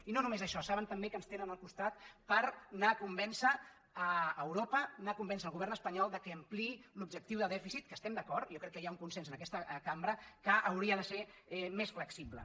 i no només això saben també que ens tenen al costat per anar a convèncer europa anar a convèncer el govern espanyol que ampliï l’objectiu de dèficit que estem d’acord jo crec que hi ha un consens en aquesta cambra que hauria de ser més flexible